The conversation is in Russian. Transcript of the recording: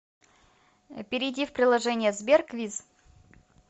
перейди в приложение сбер квиз